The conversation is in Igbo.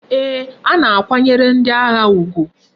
Ee,a na akwanyere ndi agha ugwu